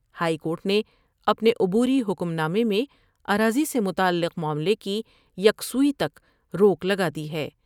High court نے اپنے عبوری حکم نامے میں اراضی سے متعلق معاملے کی یکسوئی تک روک لگادی ہے ۔